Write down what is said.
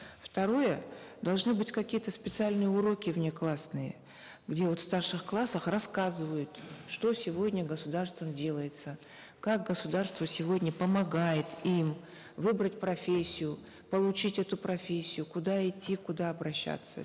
второе должны быть какие то специальные уроки внеклассные где вот в старших классах рассказывают что сегодня государством делается как государство сегодня помогает им выбрать профессию получить эту профессию куда идти куда обращаться